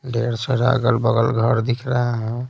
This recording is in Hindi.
ढेर सारा अगल-बगल घर दिख रहे है।